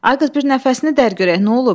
Ay qız, bir nəfəsini dər görək nə olub?